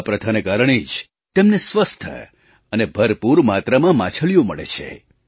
આ પ્રથાના કારણે જ તેમને સ્વસ્થ અને ભરપૂર માત્રામાં માછલીઓ મળે છે